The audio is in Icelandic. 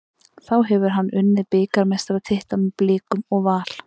Þá hefur hann unnið bikarmeistaratitla með Blikum og Val.